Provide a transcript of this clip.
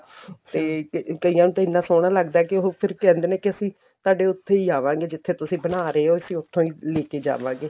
ਤੇ ਕਈਆਂ ਨੂੰ ਤਾਂ ਇੰਨਾ ਸੋਹਣਾ ਲੱਗਦਾ ਕੀ ਉਹ ਸਿਰਫ ਕਹਿੰਦੇ ਨੇ ਕੀ ਅਸੀਂ ਤੁਹਾਡੇ ਉੱਥੇ ਹੀ ਆਵਾਂਗੇ ਜਿੱਥੇ ਤੁਸੀਂ ਬਣਾ ਰਹੇ ਓ ਅਸੀਂ ਉੱਥਥੋਂ ਹੀ ਲੈਕੇ ਜਾਵਾਗੇ